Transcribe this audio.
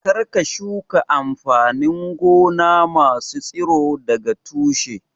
Kar ka shuka amfanin gona masu tsiro daga tushe!